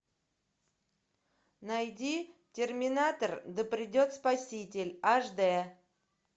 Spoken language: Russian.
найди терминатор да придет спаситель аш д